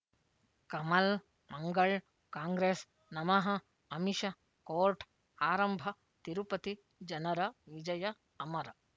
ಕಮಲ್ ಮಂಗಳ್ ಕಾಂಗ್ರೆಸ್ ನಮಃ ಅಮಿಷ ಕೋರ್ಟ್ ಆರಂಭ ತಿರುಪತಿ ಜನರ ವಿಜಯ ಅಮರ